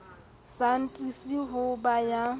sa atise ho ba ya